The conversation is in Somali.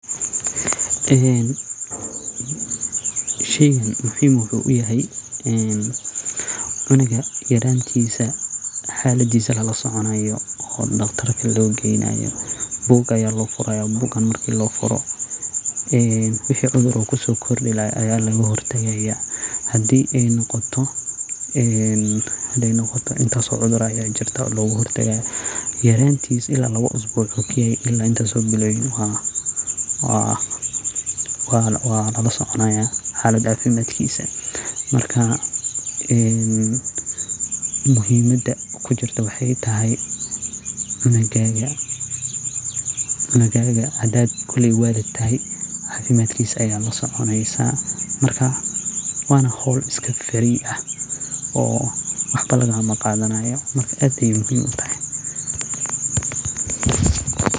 Sheygan muhiim wuxu uyahay cunuga yarantisa xaladisa lalasoconayo oo dqatar logeynayo. Bug aya lofuraya kaso xaladisa lalasoconayo oo wixi cudur kusokordi laha aya lagahortagay hadi ey noqoto intaso cudur aya jirto logahortagayo yaraantisa ila intas biloyin kagarayo walasoconaya xaladisa cafimad. Muhiimada kujirta waxey tahaay hadi aad walid tahay xakada cungaga ayad lasoconeysa wana howl iskafirii ah oo wax lagamnaqadanayo marka aad ayey muhiim utahay.